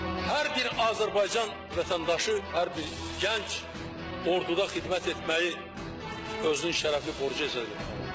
Hər bir Azərbaycan vətəndaşı, hər bir gənc orduda xidmət etməyi özünün şərəfli borcu hesab edir.